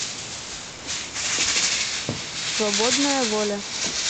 свободная воля